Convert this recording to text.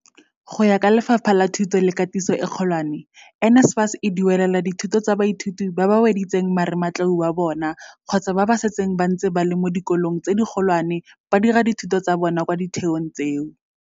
Go ya ka Lefapha la Thuto le Katiso e Kgolwane, NSFAS e duelela dithuto tsa baithuti ba ba weditseng marematlou wa bona kgotsa ba ba setseng ba ntse ba le mo dikolong tse dikgolwane ba dira dithuto tsa bona kwa ditheong tseo.